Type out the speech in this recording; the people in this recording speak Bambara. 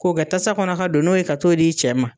K'o kɛ tasa kɔnɔ ka don n'o ye ka t'o di i cɛ ma